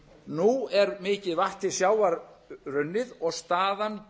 nú er mikið vatn til sjávar runnið og staðan